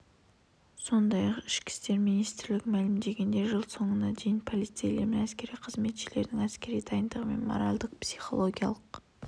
сондай-ақ ішкі істер министрі мәлімдегендей жыл соңына дейін полицейлер мен әскери қызметшілердің әскери дайындығы мен моральдық-психологиялық